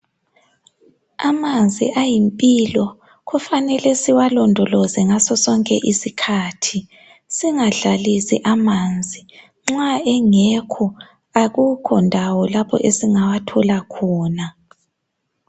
Amanzi ayimpilo kufanele siwalondoloze ngaso sonke isikhathi singadlalisi amanzi nxa engekho ekukhondawo lapho esingawathola khona.